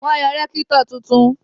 Wọ́n yan rẹ́kítọ̀ tuntun